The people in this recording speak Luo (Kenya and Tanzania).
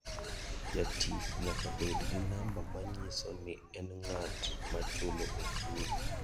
Jatich nyaka bed gi namba manyiso ni en ng'at machulo osuru.